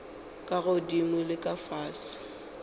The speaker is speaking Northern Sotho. ka godimo le ka fase